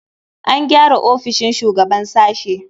An gyara ofishin shugaban sashe.